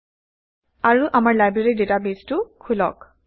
আৰু আমাৰ লাইব্ৰেৰী ডেটাবেইছটো খোলক